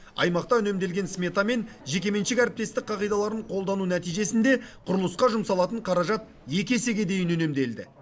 аймақта үнемделген смета мен жекеменшік әріптестік қағидаларын қолдану нәтижесінде құрылысқа жұмсалатын қаражат екі есеге дейін үнемделді